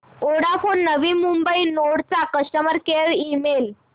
Vodafone Navi Mumbai node चा customer care email